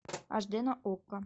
аш д на окко